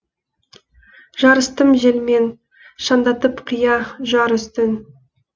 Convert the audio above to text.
жарыстым желмен шаңдатып қия жар үстін